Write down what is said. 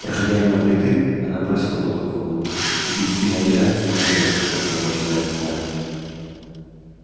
проходя мимо плиты она бросила платок в огонь и в бессильной ярости смотрела как его пожирает пламя